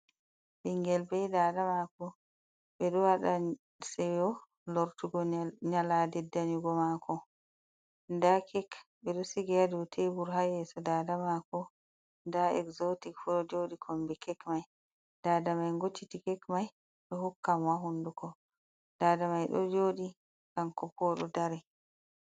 Ɓingel be dada mako, ɓe ɗo waɗa seyo lortugo nyalade danyugo mako, nda kek ɓe ɗo sigi ha dow taibur, ha yeso dada mako nda exzotic fuu ɗo joɗi kombi kek mai, dada mai ngocciti kek mai ɗo hokkamo ha hunduko, dada mai ɗo joɗi hanko bo oɗo dari.